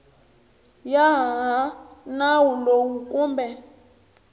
ya hi nawu lowu kumbe